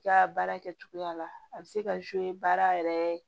I ka baara kɛcogoya la a bɛ se ka baara yɛrɛ